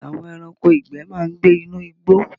Àwọn ẹranko ìgbẹ́ ma ń gbé inú igbó